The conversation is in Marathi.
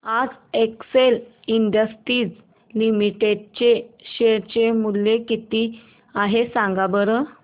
आज एक्सेल इंडस्ट्रीज लिमिटेड चे शेअर चे मूल्य किती आहे सांगा बरं